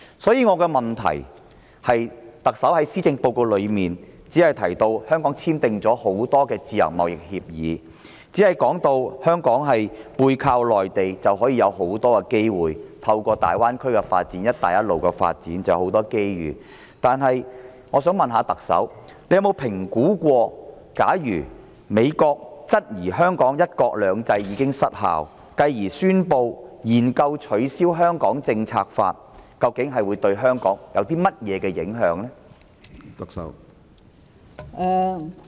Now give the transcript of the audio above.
因此，我的質詢是，特首在施政報告中只提到香港簽訂了多項自由貿易協議，加上香港背靠內地，已能獲得大量機會，而大灣區及"一帶一路"的發展亦會帶來很多機遇，但我想問特首有否評估，假如美國質疑香港的"一國兩制"已失效，繼而宣布研究取消《香港政策法》，究竟會對香港有何影響？